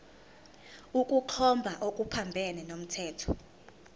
ukukhomba okuphambene nomthetho